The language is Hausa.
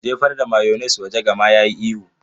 Jefar da mayones waje! Gama yayi ihu.